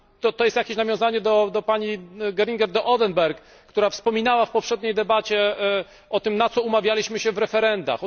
To jest jakieś nawiązanie do słów pani Geringer de Oedenberg, która wspominała w poprzedniej debacie o tym, na co umawialiśmy się w referendach.